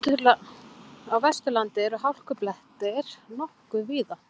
Á Vesturlandi eru hálkublettir nokkuð víða